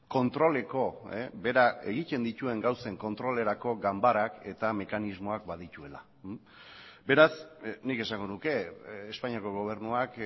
kontroleko bera egiten dituen gauzen kontrolerako ganbarak eta mekanismoak badituela beraz nik esango nuke espainiako gobernuak